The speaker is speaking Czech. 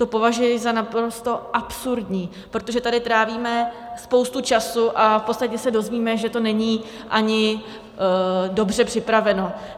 To považuji za naprosto absurdní, protože tady trávíme spoustu času a v podstatě se dozvíme, že to není ani dobře připraveno.